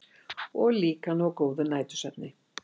Og líka ná góðum nætursvefni.